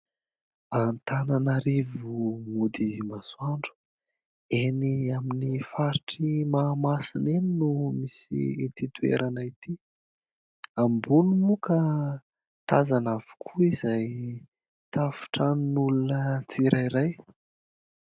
Antananarivo mody masoandro. Eny amin'ny faritry Mahamasina eny no misy itỳ toerana itỳ. Ambony moa ka tazana avokoa izay tafon-tranon'olona tsirairay.